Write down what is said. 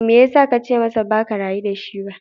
Me ya sa ka ce masa ba ka rayu da shi ba?